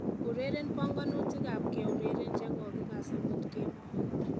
Ureren banganutikab keureren chekokikass amut kemoi